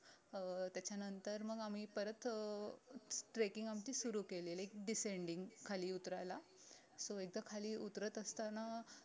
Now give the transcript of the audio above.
अं त्याच्यानंतर मग आम्ही परत अं trekking आमची सुरु केली like decending खाली उतरायला so एकदा खाली उतरत असताना